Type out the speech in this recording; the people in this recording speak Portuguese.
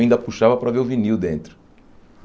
Ainda puxava para ver o vinil dentro.